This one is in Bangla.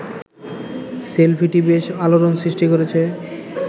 সেলফিটি বেশ আলোড়ন সৃষ্টি করেছে